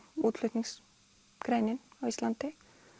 útflutningsgreinin á Íslandi